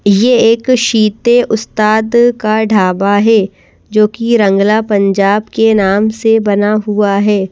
यह एक शीते उस्ताद का ढाबा है जो कि रंगला पंजाब के नाम से बना हुआ है।